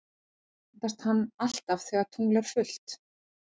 Myndast hann alltaf þegar tungl er fullt?